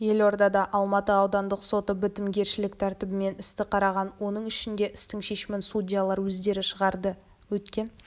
елордада алматы аудандық соты бітімгершілік тәртібімен істі қараған оның ішінде істің шешімін судьялар өздері шығарды өткен